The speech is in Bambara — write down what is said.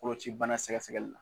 Koloci bana sɛgɛsɛgɛli